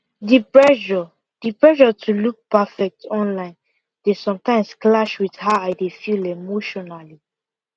the pressure the pressure to look perfect online dey sometimes clash with how i dey feel emotionally